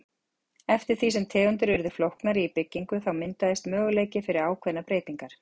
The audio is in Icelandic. Eftir því sem tegundir urðu flóknari í byggingu þá myndaðist möguleiki fyrir ákveðnar breytingar.